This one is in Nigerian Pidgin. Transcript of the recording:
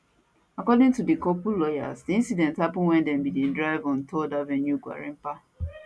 according to di couple lawyers di incident happun wen dem bin dey drive on 3rd avenue gwarinpa